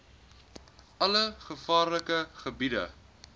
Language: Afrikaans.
alle gevaarlike gebiede